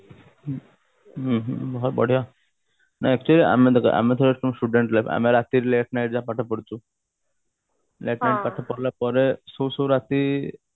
ହୁଁ ଉଁ ହୁଁ ବହୁତ ବଢିଆ ମୁଁ actually ଆମେ ଦେଖ ଆମେ ହେଉଛୁ student ଲୋକ ଆମେ ରାତିରେ late-night ଯାଏଁ ପାଠ ପଢୁଛୁ late night ଯାଏଁ ପାଠ ପଢିଲା ପରେ ଶୋଉ ଶୋଉ ରାତି